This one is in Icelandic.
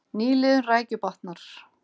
Nýliðun rækju batnar